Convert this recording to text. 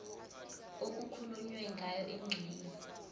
okukhulunywe ngayo kwingxenye